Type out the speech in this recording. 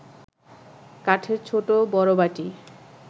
কাঠের ছোট বড় বাটি